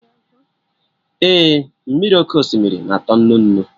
Ee, mmiri oké osimiri na-atọ nnu nnu